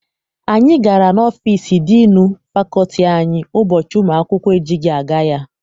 Anyị gara n'ọfịịsi diinu fakọlti anyị ụbọchị ụmụ akwụkwọ ejighị aga ya.